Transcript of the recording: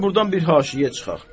Hələ burdan bir haşiyə çıxaq.